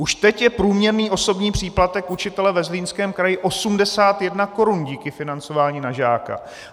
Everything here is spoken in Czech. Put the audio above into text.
Už teď je průměrný osobní příplatek učitele ve Zlínském kraji 81 korun díky financování na žáka!